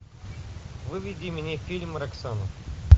выведи мне фильм роксана